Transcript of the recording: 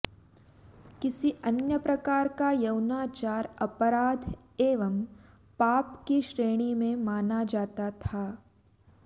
किसी अन्य प्रकार का यौनाचार अपराध एवं पाप की श्रेणी में माना जाता था